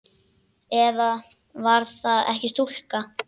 Eða var það ekki stúlka?